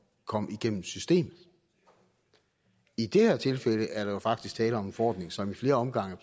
kom igennem systemet i det her tilfælde er der jo faktisk tale om en forordning som i flere omgange